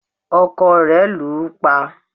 ọkọ rẹ̀ lù ú pa